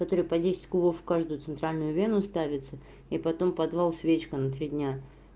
которое по десять кубов в каждую центральную вену ставится и потом подвал свечка на три дня